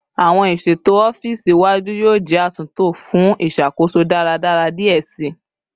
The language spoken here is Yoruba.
Awọn iṣeto ọfiisi iwaju yoo jẹ atunto fun iṣakoso daradara diẹ sii